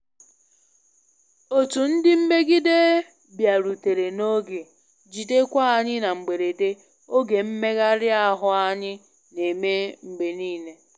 Otu ndị mmegide bịarutere na oge, jidekwa anyị na mgberede oge mmegharị ahụ anyị na-eme mgbe niile